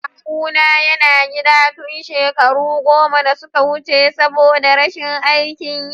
Kawuna yana gida tun shekaro goma da suka wuce saboda rashin aikin yi.